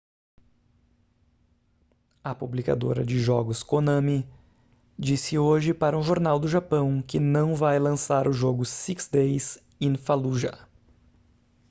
a publicadora de jogos konami disse hoje para um jornal do japão que não vai lançar o jogo six days in fallujah